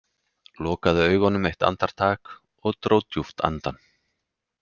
Lokaði augunum eitt andartak og dró djúpt andann.